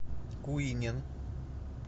куинен